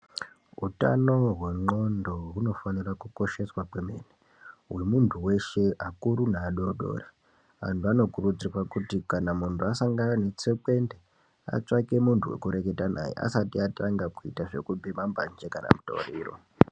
Utano hwendxondo hunofanira kukosheswa kwemene hwemunthu weshe akuru neadodori anthu vanokurudzirwa kuti kana munhu asangana netsekwende atsvake munthu wekureketa naye asati atanga kuuta zvekubhema mbanje kana mutoriro.